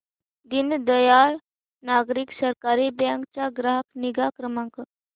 दीनदयाल नागरी सहकारी बँक चा ग्राहक निगा क्रमांक